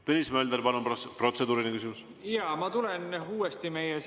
Tõnis Mölder, palun, protseduuriline küsimus!